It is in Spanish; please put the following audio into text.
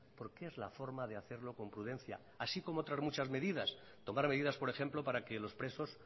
porque es la forma de hacerlo con prudencia así como otras muchas medidas tomar medidas por ejemplo para que los presos